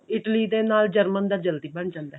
Italy ਨਾਲੋਂ German ਦਾ ਜਲਦੀ ਬਣ ਜਾਂਦਾ